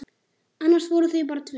Annars voru þau bara tvö.